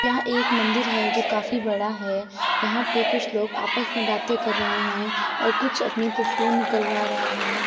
यहाँ एक मंदिर है जो काफी बड़ा है। यहाँ पे कुछ लोग आपस में बातें कर रहे हैं। कुछ लोग अपनी तस्वीर निकलवा रहे हैं।